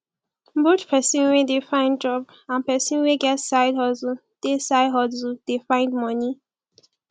both persin we de find job and person wey get side hustle de side hustle de find moni